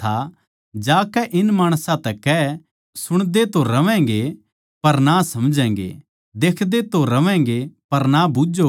जाकै इन माणसां तै कह के सुणदे तो रहोगे पर ना समझोगे देखदे तो रहोगे पर ना बूझ्झोगे